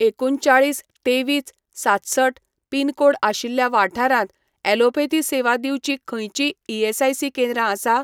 एकुणचाळीस तेवीस सातसठ पिनकोड आशिल्ल्या वाठारांत, ॲलोपथी सेवा दिवपी खंयचींय ईएसआयसी केंद्रां आसा?